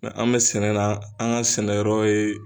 an bɛ sɛnɛ na an ka sɛnɛyɔrɔ ye